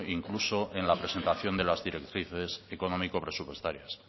incluso en la presentación de las directrices económico presupuestarias